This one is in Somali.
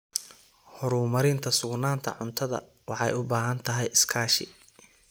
Horumarinta sugnaanta cuntadu waxay u baahan tahay iskaashi.